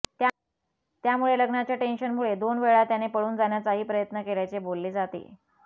त्यामुळे लग्नाच्या टेन्शनमुळे दोन वेळा त्याने पळून जाण्याचाही प्रयत्न केल्याचे बोलले जाते